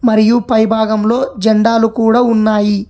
మరియు పై భాగంలో జండాలు కూడ ఉన్నాయి.